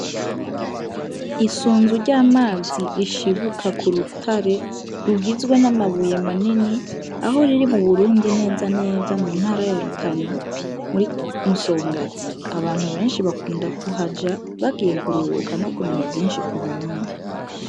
Isunzu ry'amazi rishibuka k'urutare, rigizwe n'amabuye manini, aho riri mu Burundi neza na neza mu ntara ya Rutana muri Musongati. Abantu benshi bakunda kuhaja bagiye kuruhuka, no kumenya vyinshi ku Burundi.